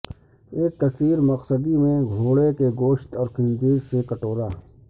ایک کثیر مقصدی میں گھوڑے کے گوشت اور خنزیر سے کٹورا